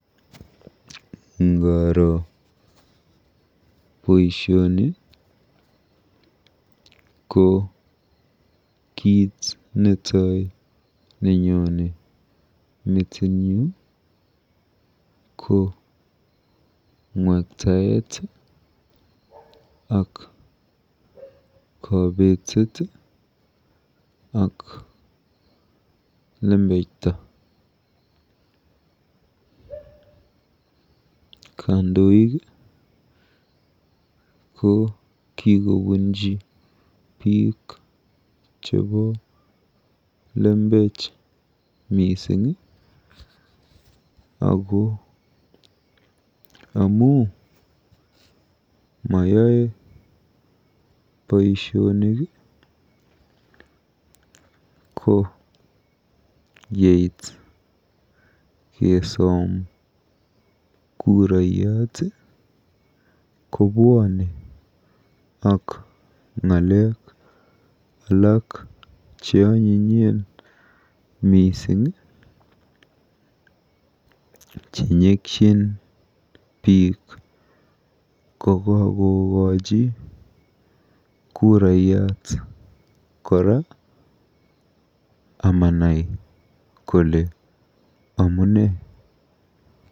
Ngaaro boisioni ko kiit netaai nenyone metit nyu ko ng'wektaet, kobeetet ako lembeita. Kandoik ko kibunji biik chebo lembech mising ko amu mayae boisionik, ko yeit kesom kuraiyat kobwone ak ng'alek alak cheonyinyen mising ako nyekchin biik kokakokoji kuraiyat kora amanai kole omune.